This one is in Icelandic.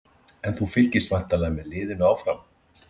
En þú fylgist væntanlega með liðinu áfram?